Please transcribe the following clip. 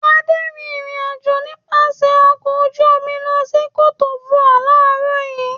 Adé rìnrìn-àjò nípasẹ̀ ọkọ̀ ojú-omi lọ sí Côte D'Ivoire láàárọ̀ yìí.